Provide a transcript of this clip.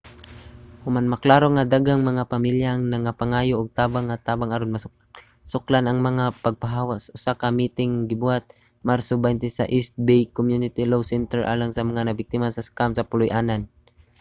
human maklaro nga daghang mga pamilya ang nagapangayo og tabang nga tabang aron masuklan ang mga pagpapahawa usa ka miting ang gibuhat sa marso 20 sa east bay community law center alang sa mga nabiktima sa scam sa puloy-anan